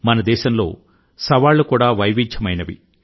మన దేశంలో వివిధ రకాల సవాళ్లు కూడా వైవిధ్యమైనవి